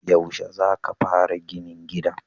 Yaushe za ka fara ginin gidan?